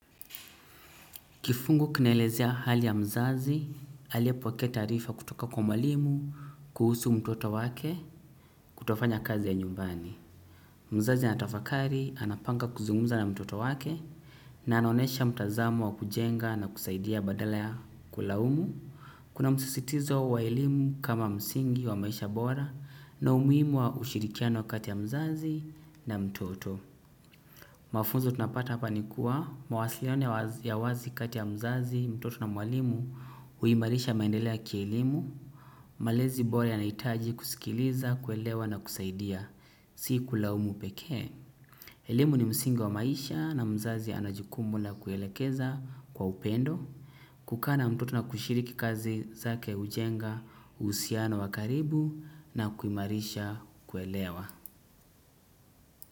Kifungu kinaelezea hali ya mzazi, aliyepokea taarifa kutoka kwa mwalimu, kuhusu mtoto wake, kutofanya kazi ya nyumbani. Mzazi anatafakari anapanga kuzungumza na mtoto wake na anaonesha mtazamo wa kujenga na kusaidia badala ya kulaumu. Kuna msisitizo wa elimu kama msingi wa maisha bora na umuhimu wa ushirikiano kati ya mzazi na mtoto. Mafunzo tunapata hapa ni kuwa mawasiliano ya wazi kati ya mzazi, mtoto na mwalimu huimarisha maendeleo ya kielimu. Malezi bora yanahitaji kusikiliza, kuelewa na kusaidia, si kulaumu pekee. Elimu ni msingi wa maisha na mzazi ana jukumu la kuelekeza kwa upendo. Kukaa na mtoto na kushiriki kazi zake hujenga, uhusiano wa karibu na kuimarisha kuelewa.